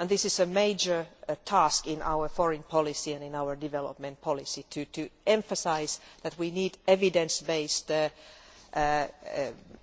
It is a major task in our foreign policy and our development policy to emphasise that we need evidence based